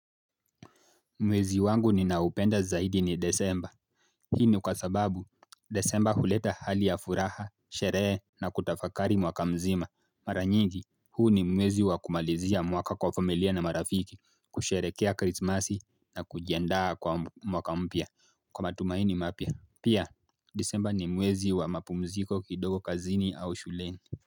Mwezi wangu ninaupenda zaidi ni Desemba. Hii ni kwa sababu, Desemba huleta hali ya furaha, sherehe na kutafakari mwaka mzima. Mara nyingi, huu ni mwezi wa kumalizia mwaka kwa familia na marafiki, kusherekea krismasi na kujiandaa kwa mwaka mpya kwa matumaini mapya. Pia, Disemba ni mwezi wa mapumziko kidogo kazini au shuleni.